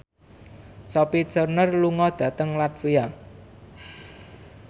Sophie Turner lunga dhateng latvia